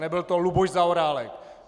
Nebyl to Luboš Zaorálek.